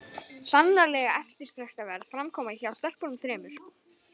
Sannarlega eftirtektarverð framkoma hjá stelpunum þremur!